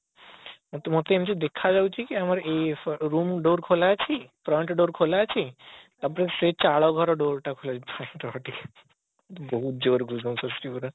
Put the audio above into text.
ମତେ ମତେ ଏମତି ଦେଖା ଯାଉଛି କି ଆମର ଏଇ room door ଖୋଲା ଅଛି front door ଖୋଲା ଅଛି ତାପରେ ସେଇ ଚାଳ ଘର door ଟା ଖୋଲା ଅଛି ବହୁତ ଜୋରେ gush booms ଆସୁଛି ପୁରା